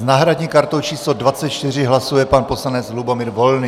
S náhradní kartou číslo 24 hlasuje pan poslanec Lubomír Volný.